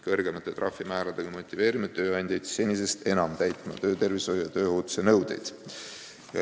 Kõrgemate trahvimääradega motiveerime tööandjaid senisest paremini täitma töötervishoiu ja tööohutuse nõudeid.